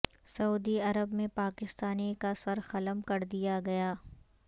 سعودی Arab میں پاکستانی کا سر قلم کر دیا گیا